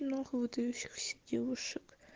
и много выдающихся девушек